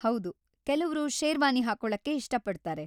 ಹೌದು, ಕೆಲವ್ರು ಶೇರ್ವಾನಿ ಹಾಕೊಳಕ್ಕೆ ಇಷ್ಟಪಡ್ತಾರೆ.